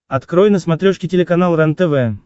открой на смотрешке телеканал рентв